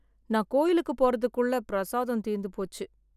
நான் கோயிலுக்கு போறதுக்குள்ள பிரசாதம் தீர்ந்து போச்சு